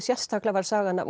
migsérstaklega var sagan af